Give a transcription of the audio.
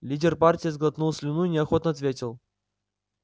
лидер партии сглотнул слюну и неохотно ответил